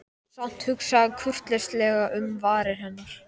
Samt hugsaði hann kurteislega um varir hennar.